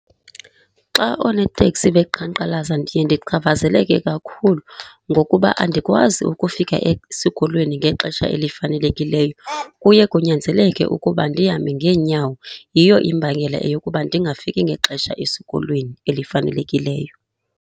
Xa oonoteksi beqhankqalaza ndiye ndingachaphazeleke kakhulu ngokuba andikwazi ukufika esikolweni ngexesha elifanelekileyo. Kuye kunyanzeleke ukuba ndihambe ngeenyawo. Yiyo imbangela yokuba ndingafiki ngexesha esikolweni elifanelekileyo.